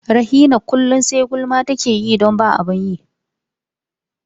Rahina kullum sai gulma take yi don babu abin yi.